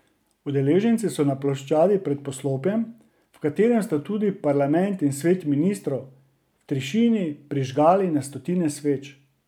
Udeleženci so na ploščadi pred poslopjem, v katerem sta tudi parlament in svet ministrov, v tišini prižgali na stotine sveč.